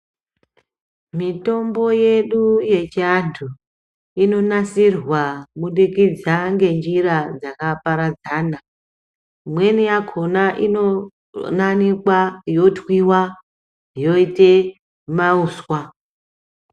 Mitombo yedu yechiantu inonasirwa kubudikidza ngenjira dzakaparadzana, imweni yakona inonanikwa, yotwiwa yoite mauswa.